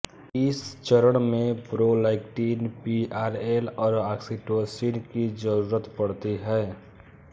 इस चरण में प्रोलैक्टिन पीआरएल और ऑक्सीटोसिन की जरूरत पड़ती है